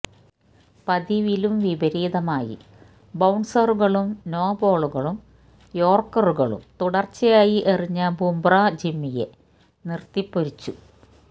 പതിവിലും വിപരീതമായി ബൌൺസറുകളും നോബോളുകളും യോർക്കറുകളും തുടർച്ചയായി എറിഞ്ഞ ബുമ്ര ജിമ്മിയെ നിർത്തിപ്പൊരിച്ചു